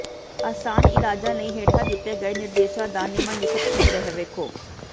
ਆਸਾਨ ਇਲਾਜਾਂ ਲਈ ਹੇਠਾਂ ਦਿੱਤੇ ਗਏ ਨਿਰਦੇਸ਼ਾਂ ਦਾ ਨਿਮਨਲਿਖਤ ਸੰਗ੍ਰਹਿ ਵੇਖੋ